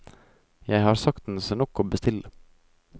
Jeg har saktens nok å bestille.